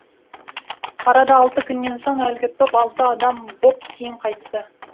арада алты күннен соң әлгі топ алты адам боп кейін қайтты